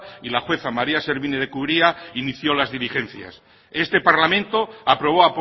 y la jueza maría servini de cubría inició las diligencias este parlamento aprobó